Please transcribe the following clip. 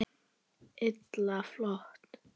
Illa flott!